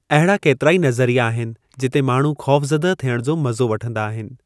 अहिड़ा केतिराई नज़रिया आहिनि जिते माण्हूं ख़ौफ़ज़दह थियणु जो मज़ो वठंदा आहिनि।